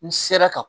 N sera ka